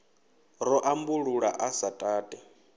ḓo ambulula a sa tati